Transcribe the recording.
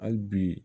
Hali bi